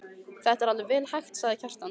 Þetta er vel hægt, sagði Kjartan.